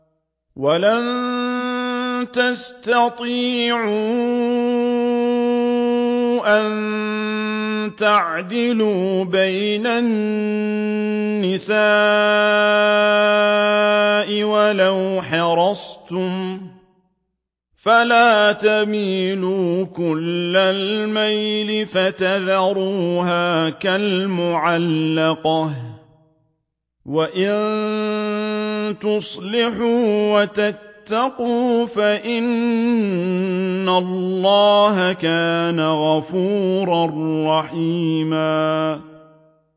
وَلَن تَسْتَطِيعُوا أَن تَعْدِلُوا بَيْنَ النِّسَاءِ وَلَوْ حَرَصْتُمْ ۖ فَلَا تَمِيلُوا كُلَّ الْمَيْلِ فَتَذَرُوهَا كَالْمُعَلَّقَةِ ۚ وَإِن تُصْلِحُوا وَتَتَّقُوا فَإِنَّ اللَّهَ كَانَ غَفُورًا رَّحِيمًا